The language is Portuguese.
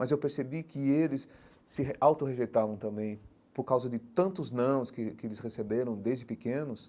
Mas eu percebi que eles se re autorrejeitavam também, por causa de tantos nãos que que eles receberam desde pequenos.